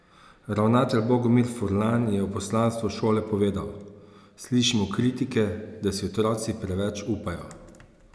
Ravnatelj Bogomir Furlan je o poslanstvu šole povedal: "Slišimo kritike, da si otroci preveč upajo.